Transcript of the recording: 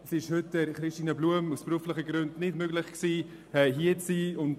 Es ist Christine Blum aus beruflichen Gründen nicht möglich, heute hier zu sein.